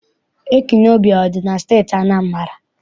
Ekwulọọbịa adị na Steeti Anambra?